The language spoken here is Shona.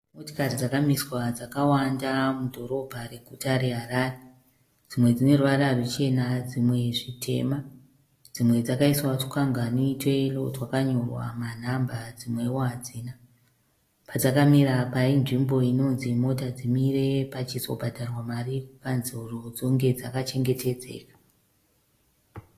Motokari dzakamiswa dzakawanda mudhorobha reguta reHarare , dzimwe dzine ruvara ruchena dzimwe zvitema dzimwe dzakaiswa tukwangwari tweyero twakanyorwa manhamba dzimwewo hadzina. Padzakamira apa inzvimbo inonzi mota dzimire pachizobhadharwa mari kukanzuru dzonge dzakachengetedzeka.